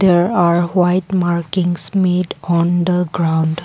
there are white markings made on the ground.